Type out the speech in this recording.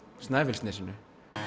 Snæfellsnesinu